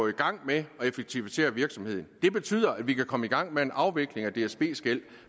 i gang med at effektivisere virksomheden det betyder at vi kan komme i gang med en afvikling af dsbs gæld